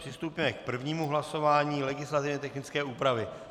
Přistoupíme k prvnímu hlasování, legislativně technické úpravy.